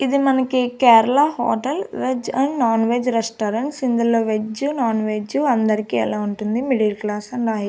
ఇది మనకి Kerala hotel veg and non veg restaurants ఇందులో వెజ్ నాన్వెజ్ అందరికి ఎలా ఉంటుంది మిడిల్ క్లాస్ అండ్ హై .